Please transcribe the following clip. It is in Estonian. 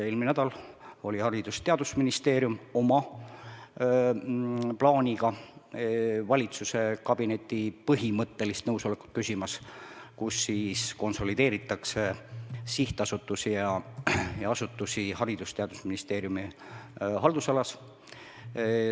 Eelmine nädal oli Haridus- ja Teadusministeerium oma plaaniga valitsuskabinetis küsimas nõusolekut, et konsolideerida sihtasutusi ja asutusi Haridus- ja Teadusministeeriumi haldusalas.